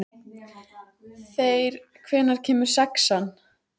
Þeyr, hvenær kemur sexan?